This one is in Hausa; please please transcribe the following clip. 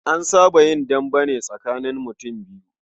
An saba yin dambe ne tsakanin mutum biyu.